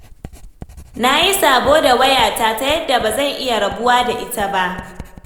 Na yi sabo da wayata ta yadda ba zan iya rabuwa da ita ba.